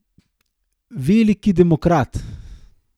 Veliki demokrat.